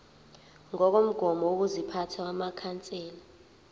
ngokomgomo wokuziphatha wamakhansela